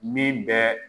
Min bɛ